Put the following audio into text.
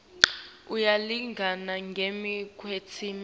uyalingana ngembi kwemtsetfo